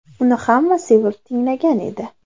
Uni hamma sevib tinglagan edi.